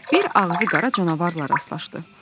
Bir ağzı qara canavarla rastlaşdı.